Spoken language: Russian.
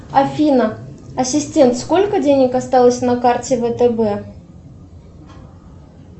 афина ассистент сколько денег осталось на карте втб